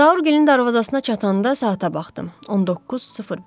Zaurgilin darvazasına çatanda saata baxdım: 19:05.